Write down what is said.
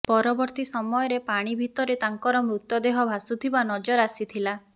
ପରବର୍ତ୍ତୀ ସମୟରେ ପାଣି ଭିତରେ ତାଙ୍କର ମୃତଦେହ ଭାସୁଥିବା ନଜର ଆସିଥିଲା